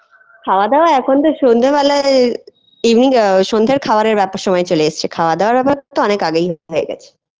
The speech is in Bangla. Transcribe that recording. খাওয়া-দাওয়া এখন তো সন্ধ্যার বেলায় Evening hour সন্ধ্যের খাবার আটটার সময় চলে এসেছে খাওয়া-দাওয়া ব্যাপার তো অনেক আগেই হয়ে গেছে